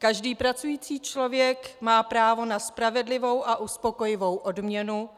Každý pracující člověk má právo na spravedlivou a uspokojivou odměnu,